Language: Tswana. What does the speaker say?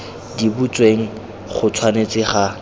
di butsweng go tshwanetse ga